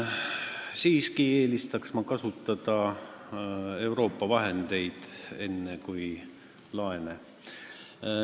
Siiski eelistaksin kasutada Euroopa vahendeid, enne kui laene.